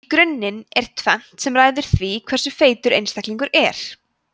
í grunninn er tvennt sem ræður því hversu feitur einstaklingur er